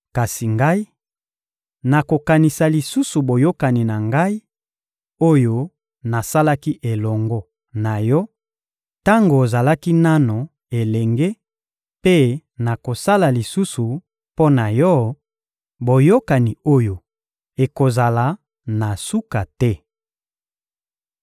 Kasi Ngai, nakokanisa lisusu boyokani na Ngai, oyo nasalaki elongo na yo tango ozalaki nanu elenge, mpe nakosala lisusu mpo na yo, boyokani oyo ekozala na suka te.